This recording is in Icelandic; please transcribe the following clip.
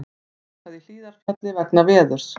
Lokað í Hlíðarfjalli vegna veðurs